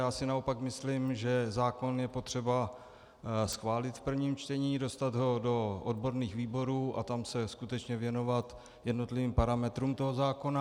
Já si naopak myslím, že zákon je potřeba schválit v prvním čtení, dostat ho do odborných výborů a tam se skutečně věnovat jednotlivým parametrům toho zákona.